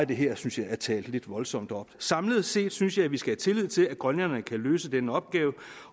det her synes jeg er talt lidt voldsomt op samlet set synes jeg at vi skal have tillid til at grønlænderne kan løse den opgave